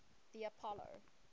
the apollo